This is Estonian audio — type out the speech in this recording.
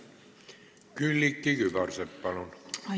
Külliki Kübarsepp, palun!